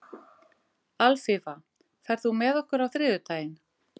Alfífa, ferð þú með okkur á þriðjudaginn?